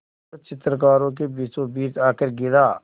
जो चित्रकारों के बीचोंबीच आकर गिरा